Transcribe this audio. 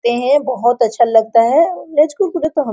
खाते है बहुत अच्छा लगता है और --